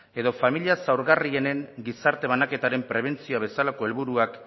edo familia zaurgarrienen gizarte banaketaren prebentzioa bezalako helburuak